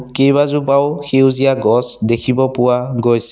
কেইবাজোপাও সেউজীয়া গছ দেখিব পোৱা গৈছ--